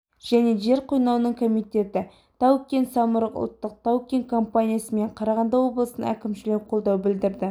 және жер қойнауының комитеті тау-кен самұрық ұлттық тау-кен компаниясы мен қарағанды облысының әкімшілігі қолдау білдірді